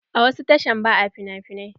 A wasu tashan ba a finafinai.